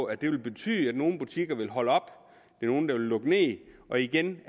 at det vil betyde at nogle butikker vil holde op at nogle vil lukke ned og igen